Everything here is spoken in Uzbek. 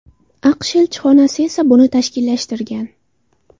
AQSh elchixonasi esa buni tashkillashtirgan.